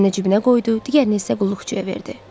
Birini cibinə qoydu, digərini isə qulluqçuya verdi.